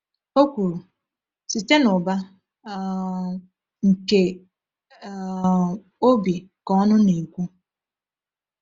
O kwuru: “Site n’ụba um nke um obi ka ọnụ na-ekwu.”